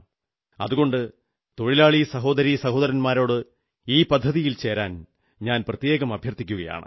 അതുകൊണ്ട് തൊഴിലാളി സഹോദരീ സഹോദന്മാരോട് ഈ പദ്ധതിയിൽ പങ്കുചേരാൻ ഞാൻ പ്രത്യേകം അഭ്യർഥിക്കുന്നു